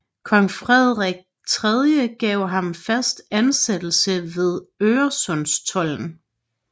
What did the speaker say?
Kong Frederik III gav ham fast ansættelse ved Øresundstolden